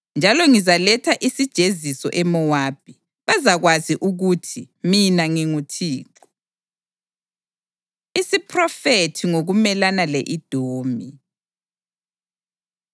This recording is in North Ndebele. njalo ngizaletha isijeziso eMowabi. Bazakwazi ukuthi mina nginguThixo.’ ” Isiphrofethi Ngokumelana Le-Edomi